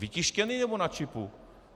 Vytištěný, nebo na čipu?